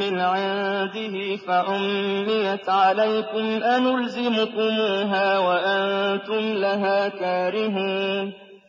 مِّنْ عِندِهِ فَعُمِّيَتْ عَلَيْكُمْ أَنُلْزِمُكُمُوهَا وَأَنتُمْ لَهَا كَارِهُونَ